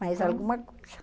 Mais alguma coisa?